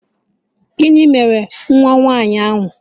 Gịnị mere nwa nwaanyị ahụ